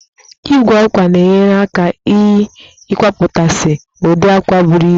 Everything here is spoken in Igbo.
Igwe àkwá na-enyere aka eii kwapụtasị ụdị àkwá buru ibu